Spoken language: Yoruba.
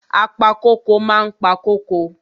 Apa kóko ma ń pa kóko.